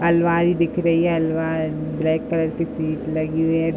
अलमारी दिख रही है। अलमा ब्लैक कलर की सीट लगी हुई है।